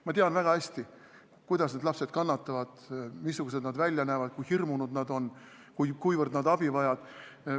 Ma tean väga hästi, kuidas need lapsed kannatavad, missugused nad välja näevad, kui hirmunud nad on, kuivõrd nad abi vajavad.